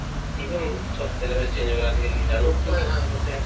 চব বেলেগ বেলেগ change হ'ল আজিকালি জানো কি কি কৰিছে